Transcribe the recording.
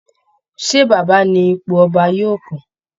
Ṣé Baba ni ipò ọba yóò kàn?